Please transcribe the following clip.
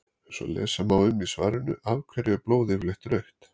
eins og lesa má um í svarinu af hverju er blóð yfirleitt rautt